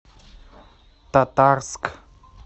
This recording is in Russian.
татарск